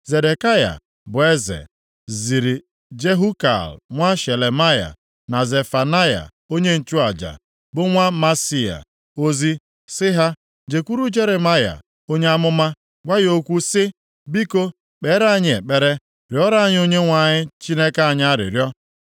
Zedekaya bụ eze, ziri Jehukal nwa Shelemaya, na Zefanaya onye nchụaja, bụ nwa Maaseia ozi sị ha, jekwuru Jeremaya onye amụma gwa ya okwu sị, “Biko, kpeere anyị ekpere, rịọrọ anyị Onyenwe anyị Chineke anyị arịrịọ.”